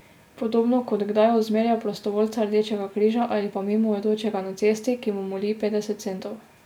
Podobno kot kdaj ozmerja prostovoljca Rdečega križa ali pa mimoidočega na cesti, ki mu moli petdeset centov.